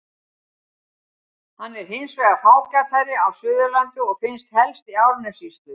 Hann er hins vegar fágætari á Suðurlandi og finnst helst í Árnessýslu.